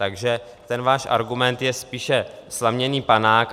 Takže ten váš argument je spíše slaměný panák.